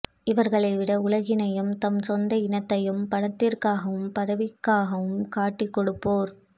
இவர்களைவிட உலகினையும் தம்சொந்த் இனத்தையும் பணத்திற்காகவும் பதவிக்காகவும் காட்டிகொடுப்போர்